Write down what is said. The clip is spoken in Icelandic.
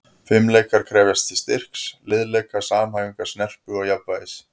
Fimleikar krefjast styrks, liðleika, samhæfingar, snerpu og jafnvægis.